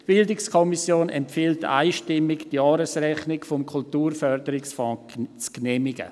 Die BiK empfiehlt einstimmig, die Jahresrechnung des Kulturförderungsfonds zu genehmigen.